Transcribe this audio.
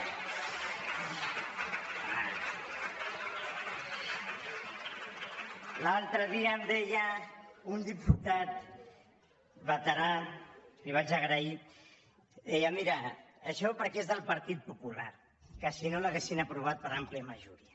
l’altre dia em deia un diputat veterà i li ho vaig a grair deia mira això perquè és del partit popular perquè si no l’haurien aprovada per àmplia majoria